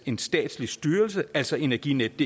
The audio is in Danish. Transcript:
en statslig styrelse altså energinetdk